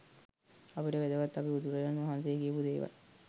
අපිට වැදගත් අපි බුදුරජනන්වහසේ කියපු දේවල්